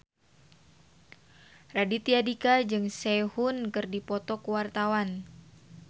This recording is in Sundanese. Raditya Dika jeung Sehun keur dipoto ku wartawan